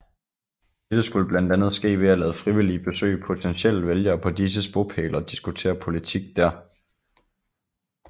Dette skulle blandt andet ske ved at lade frivillige besøge potentielle vælgere på disses bopæle og diskutere politik dér